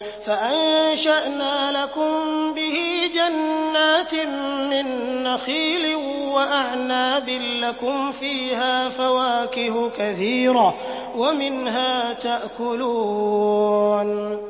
فَأَنشَأْنَا لَكُم بِهِ جَنَّاتٍ مِّن نَّخِيلٍ وَأَعْنَابٍ لَّكُمْ فِيهَا فَوَاكِهُ كَثِيرَةٌ وَمِنْهَا تَأْكُلُونَ